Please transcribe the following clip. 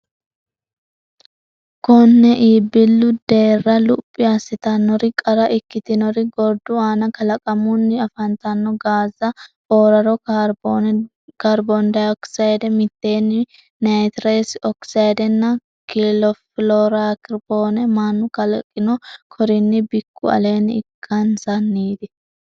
Konne iibbillu deerra luphi assitannori qara ikkitinori gordu aana kalaqamunni afantanno gaazza fooraro kaarbooni dayokisayde miiteene naytiresi okisaydenna kiloorofiloorokaarboone mannu kalaqino korinni bikku aleenni ikkansanniiti.